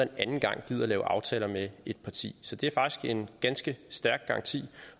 en anden gang gider lave aftaler med det parti så det er faktisk en ganske stærk garanti